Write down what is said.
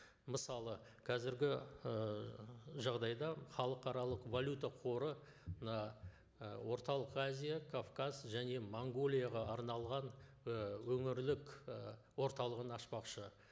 мысалы қазіргі ы жағдайда халықаралық валюта қоры мына і орталық азия кавказ және монғолияға арналған і өңірлік і орталығын ашпақшы